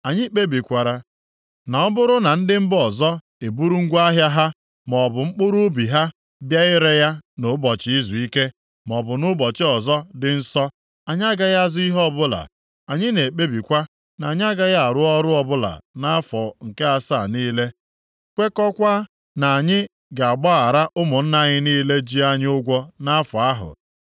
“Anyị kpebikwara na ọ bụrụ na ndị mba ọzọ eburu ngwa ahịa ha maọbụ mkpụrụ ubi ha bịa ire ya nʼụbọchị izuike, maọbụ nʼụbọchị ọzọ dị nsọ, anyị agaghị azụ ihe ọbụla. Anyị na-ekpebikwa na anyị agaghị arụ ọrụ ọbụla nʼafọ nke asaa niile, kwekọọkwa na anyị ga-agbaghara ụmụnna anyị niile ji anyị ụgwọ nʼafọ ahụ.